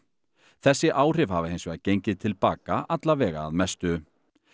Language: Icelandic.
þessi áhrif hafa hins vegar gengið til baka að mestu